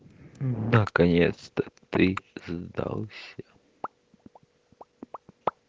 наконец-то ты сдался